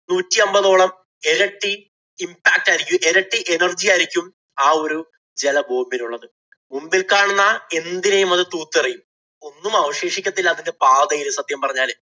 നൂറ്റിയമ്പതോളം എരട്ടി impact ആയിരിക്കും എരട്ടി energy ആയിരിക്കും ആ ഒരു ജല bomb ഇനുള്ളത്. മുമ്പില്‍ കാണുന്ന എന്തിനേം അത് തൂത്തെറിയും. ഒന്നും അവശേഷിക്കത്തില്ല അതിന്‍റെ പാതയില്‍ സത്യം പറഞ്ഞാല്.